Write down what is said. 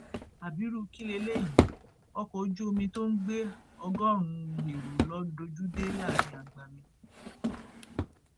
abirú kí lélẹyìí ọkọ ojú omi tó ń gbé ọgọrùnún èrò ló dojú dé láàrin agbami